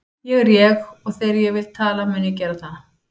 Ég er ég og þegar ég vil tala mun ég gera það.